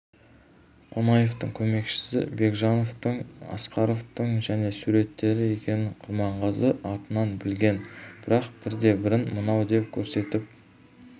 қонаевтың көмекшісі бекежановтың асқаровтың және суреттері екенін құрманғазы артынан білген бірақ бірде-бірін мынау деп көрсетіп